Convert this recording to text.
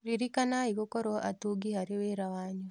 Ririkanai gũkorwo atungi harĩ wĩra wanyu.